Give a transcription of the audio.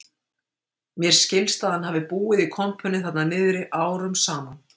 Mér skilst að hann hafi búið í kompunni þarna niðri árum saman